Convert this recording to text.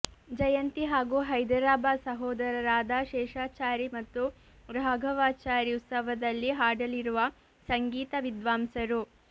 ಜಯಂತಿ ಹಾಗೂ ಹೈದರಾಬಾದ್ ಸಹೋದರರಾದ ಶೇಷಾಚಾರಿ ಮತ್ತು ರಾಘವಾಚಾರಿ ಉತ್ಸವದಲ್ಲಿ ಹಾಡಲಿರುವ ಸಂಗೀತ ವಿದ್ವಾಂಸರು